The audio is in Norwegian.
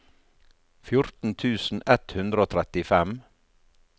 fjorten tusen ett hundre og trettifem